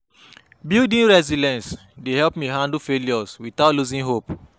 Building resilience dey help me handle failure without losing hope.